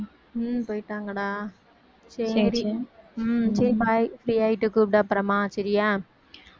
உம் போயிட்டாங்கடா சரி உம் சரி bye free ஆயிட்டு கூப்பிடு அப்புறமா சரியா